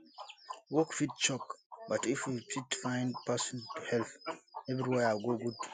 work fit choke but if you fit find person to help everywhere go good